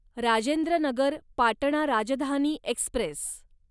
Rajendra Nagar Patna Rajdhani Express